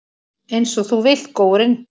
Einsog þú vilt, góurinn.